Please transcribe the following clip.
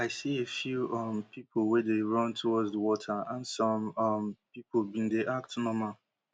i see a few um pipo wey dey run towards di water and some um pipo bin dey act normal